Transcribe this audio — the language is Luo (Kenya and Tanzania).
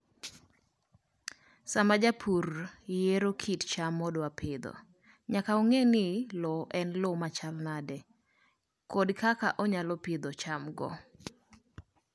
Sama japur yiero kit cham modwaro pidho, nyaka ong'e ni lowo en lowo machalo nade kod kaka onyalo pidhogo chamgo.